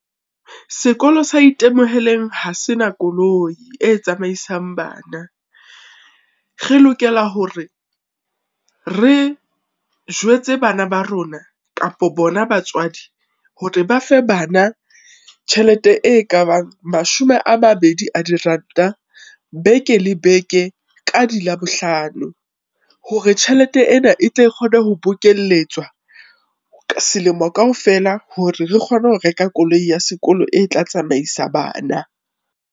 Sekolo sa Itemoheleng ha se na koloi e tsamaisang bana. Re lokela hore re jwetse bana ba rona kapa bona batswadi hore ba fe bana tjhelete e ka bang mashome a mabedi a diranta beke le beke ka di Labohlano, hore tjhelete ena e tle kgone ho bokelletswa, selemo kaofela hore re kgone ho reka koloi ya sekolo e tla tsamaisa bana.